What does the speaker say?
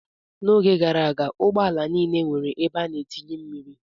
N'oge gara aga, ụgbọala niile nwere ebe a na-etinye mmiri.